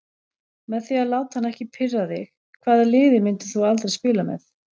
Með því að láta hann ekki pirra þig Hvaða liði myndir þú aldrei spila með?